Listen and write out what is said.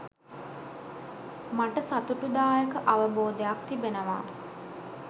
මට සතුටුදායක අවබෝධයක් තිබෙනවා